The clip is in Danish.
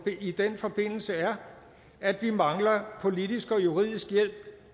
i den forbindelse er at vi mangler politisk og juridisk hjælp